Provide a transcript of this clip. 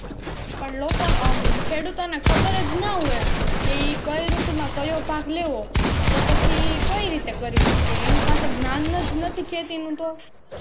અને લોકો અમ ખેડૂતો ને ખબર જ ના હોય કે ઈ કઈ ઋતુમાં કયો પાક લેવો તો પછી ઈ કઈ રીતે કરી શકે એની પાસે જ્ઞાન જ નથી ખેતી નું તો.